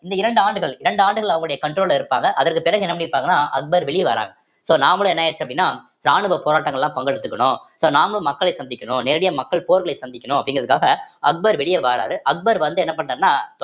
இந்த இரண்டு ஆண்டுகள் இரண்டு ஆண்டுகள் அவுங்களோடய control ல இருப்பாங்க அதற்கு பிறகு என்ன பண்ணி இருப்பாங்கன்னா அக்பர் வெளிய வராங்க so நாமளும் என்ன ஆயிடுச்சு அப்படின்னா ராணுவ போராட்டங்கள் எல்லாம் பங்கெடுத்துக்கணும் so நாமுளும் மக்களை சந்திக்கணும் நேரடியா மக்கள் போர்களை சந்திக்கணும் அப்படிங்கிறதுக்காக அக்பர் வெளியே வாராரு அக்பர் வந்து என்ன பண்றாருன்னா